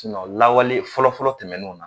lawale fɔlɔ fɔlɔ tɛmɛnew na.